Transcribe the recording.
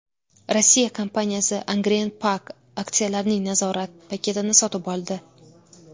Rossiya kompaniyasi Angren Pack aksiyalarining nazorat paketini sotib oldi.